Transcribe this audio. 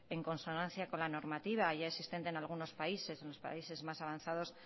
en consonancia con la normativa ya existente en algunos países los países más avanzados